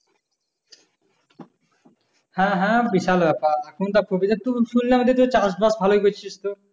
হ্যাঁ হ্যাঁ বিশাল ব্যাপার এখন যা প্রবিরের থেকে শুনলাম চাষ-বাষ ভালোই করছিস তো